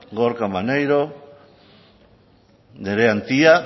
gorka maneiro nerea antia